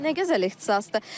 Nə gözəl ixtisasdır.